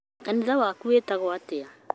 Kanitha waku wĩtagwo atĩa?